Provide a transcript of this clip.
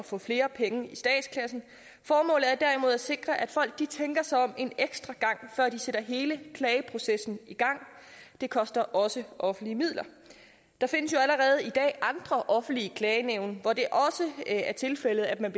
få flere penge i statskassen formålet er derimod at sikre at folk tænker sig om en ekstra gang før de sætter hele klageprocessen i gang det koster også offentlige midler der findes jo allerede i dag andre offentlige klagenævn hvor det også er tilfældet at man